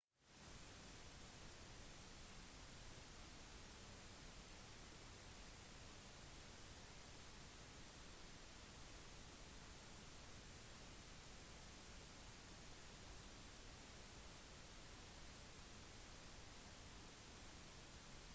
de fleste gjenstandene som er gravd ned med tutankhamun har vært godt oppbevart inkludert flere 1000 gjenstander laget fra edelmetaller og sjeldne steiner